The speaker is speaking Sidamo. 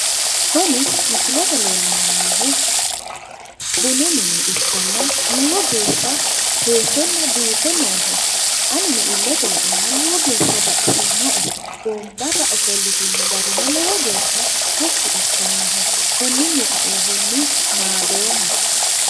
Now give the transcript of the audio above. kuni misilete aana leellanni noohu bunu mine ikanna lowo geeshsha seesenna biife nooho anino illete laeenna lowo geeshsha baxisinoe wombarra ofolitino gari lowo geeshsha tashshi assannoho konninni kainohunni naadoommase.